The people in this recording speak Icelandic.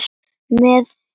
Með þingum fýrar fjölga sér.